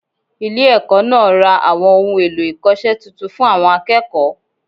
Ile èkó náà ra àwọn ohun èlò-ìkose titun fun àwọn akéèkòó